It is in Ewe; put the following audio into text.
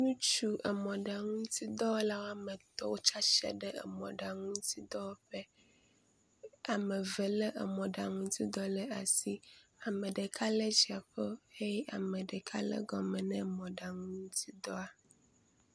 Ŋutsu emɔɖaŋu ŋutidɔwɔla woame etɔ̃ wotsi atsitre ɖe mɔɖaŋu ŋutidɔwɔƒe. Ame eve lé emɔɖaŋu ŋutidɔ ɖe asi. Ame ɖeka lé dziaƒo eye ame ɖeka lé gɔme na mɔɖaŋu ŋtutidɔa.